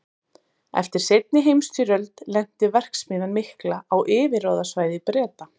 Eftir seinni heimsstyrjöld lenti verksmiðjan mikla á yfirráðasvæði Breta.